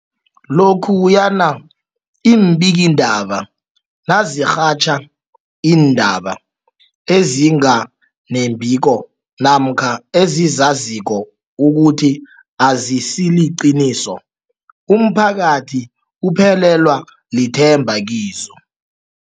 Lokhuyana iimbikiindaba nazirhatjha iindaba ezinga nembiko namkha ezizaziko ukuthi azisiliqiniso, umphakathi uphelelwa lithemba kizo.